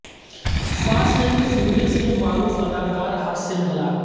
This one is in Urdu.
فاسٹ اینڈ فیوریئس کے معروف اداکار کار حادثے میں ہلاک